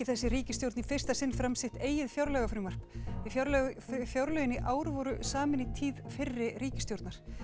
þessi ríkisstjórn í fyrsta sinn fram sitt eigið fjárlagafrumvarp því fjárlögin fjárlögin í ár voru samin í tíð fyrri ríkisstjórnar